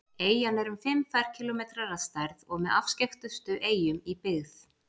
Eyjan er um fimm ferkílómetrar að stærð og með afskekktustu eyjum í byggð.